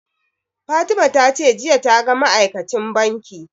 Fatima ta ce jiya ta ga ma'aikacin banki